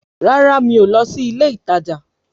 Rárá mi o lọ sí ilé ìtajà.